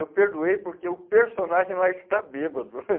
Eu perdoei porque o personagem lá está bêbado.